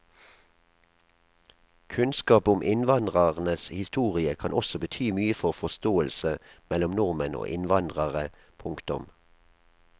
Kunnskap om innvandrernes historie kan også bety mye for forståelse mellom nordmenn og innvandrere. punktum